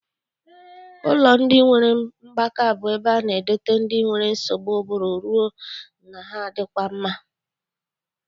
Ụlọ ndị nwere mgbaka bụ ebe a na-edote ndị nwere nsogbu ụbụrụ rue na ha adịkwa mma.